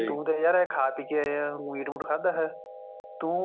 ਤੂੰ ਤਾਂ ਯਾਰ ਖਾ ਪੀ ਕੇ ਆਇਆ ਹੈ ਮੀਟ ਮੂਟ ਖਾਂਦਾ ਹੈ ਤੂੰ